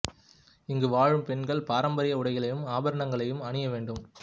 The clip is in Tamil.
இங்கு வாழும் பெண்கள் பாரம்பரிய உடைகளையும் ஆபரணங்களையும் அணிய வேண்டும்